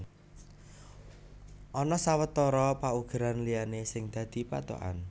Ana sawetara paugeran liyané sing dadi pathokan